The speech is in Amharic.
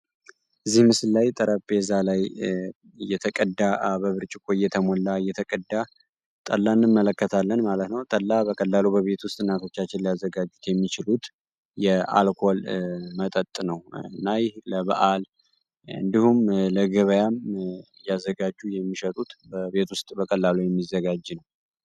እዚህ ምስል ላይ ጠረጴዛ ላይ እየተቀዳ በብርጭቆ እየተሞላ እየተቀዳ ጠላ እንመለከታለን ማለት ነው። ጠላ በቀላሉና በቤት ውስጥ እናቶቻችን ያዘጋጁት የሚችሉት የአልኮል መጠጥ አይነት ነው እና ለበዓል እንዲሁም ለገበያ እያዘጋጁ የሚሸጡት በቤት ውስጥ በቀላሉ የሚዘጋጅ ነው።